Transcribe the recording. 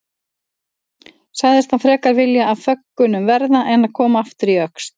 Sagðist hann frekar vilja af föggunum verða en koma aftur í Öxl.